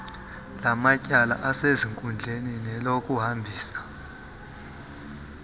elamatyala asezinkundleni nelokuhambisa